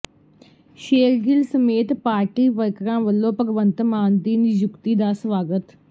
ਸ਼ੇਰਗਿੱਲ ਸਮੇਤ ਪਾਰਟੀ ਵਰਕਰਾਂ ਵੱਲੋਂ ਭਗਵੰਤ ਮਾਨ ਦੀ ਨਿਯੁਕਤੀ ਦਾ ਸਵਾਗਤ